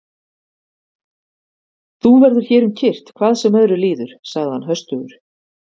Þú verður hér um kyrrt hvað sem öðru líður, sagði hann höstugur.